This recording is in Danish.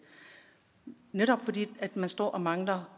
netop fordi man står og mangler